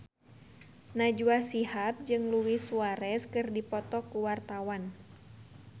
Najwa Shihab jeung Luis Suarez keur dipoto ku wartawan